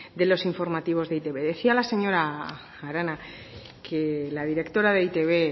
de los informativos de e i te be decía la señora arana que la directora de e i te be